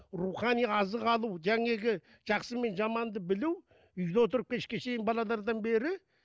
рухани азық алу жақсы мен жаманды білу үйде отырып кешке шейін балалардан бері